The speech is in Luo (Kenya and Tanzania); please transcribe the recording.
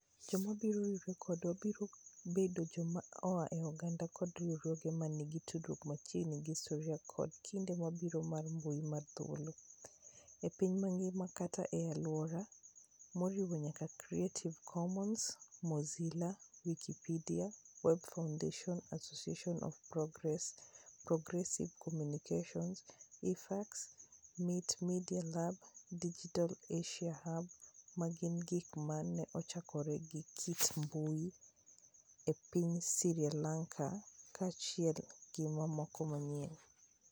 Joma biro riwore kodwa biro bedo joma oa e oganda koda riwruoge ma nigi tudruok machiegni gi histori koda kinde mabiro mar mbui mar thuolo, e piny mangima kata e alwora, moriwo nyaka Creative Commons, Mozilla, Wikipedia, Web Foundation, Association of Progressive Communications, IFEX, MIT Media Lab, Digital Asia Hub, ma gin gik ma ne ochakore gi kit mbui e piny Sri Lanka, kaachiel gi mamoko mang'eny.